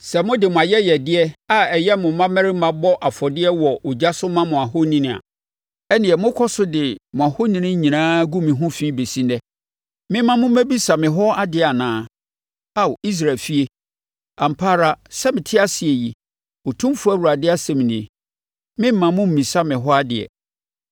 Sɛ mode mo ayɛyɛdeɛ a ɛyɛ mo mmammarima bɔ afɔdeɛ wɔ ogya so ma mo ahoni a, ɛnneɛ mokɔ so de mo ahoni nyinaa gu mo ho fi bɛsi ɛnnɛ. Memma mommɛbisa me hɔ adeɛ anaa, Ao Israel efie? Ampa ara, sɛ mete ase yi, Otumfoɔ Awurade asɛm nie, meremma mommmisa me hɔ adeɛ.